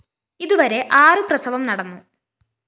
ഇതുവരെ ആറു പ്രസവം നടന്നു